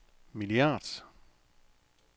milliard